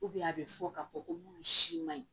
a bɛ fɔ k'a fɔ ko minnu si man ɲi